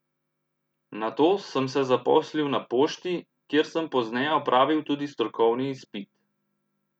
Nato sem se zaposlil na pošti, kjer sem pozneje opravil tudi strokovni izpit.